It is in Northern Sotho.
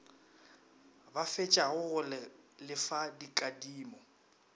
ba fetšago go lefa dikadimo